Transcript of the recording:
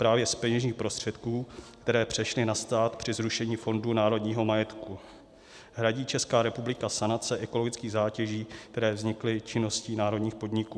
Právě z peněžních prostředků, které přešly na stát při zrušení Fondu národního majetku, hradí Česká republika sanace ekologických zátěží, které vznikly činností národních podniků.